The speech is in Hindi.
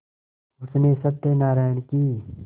उसने सत्यनाराण की